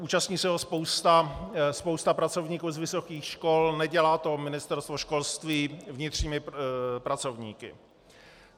Účastní se ho spousta pracovníků z vysokých škol, nedělá to Ministerstvo školství vnitřními pracovníky.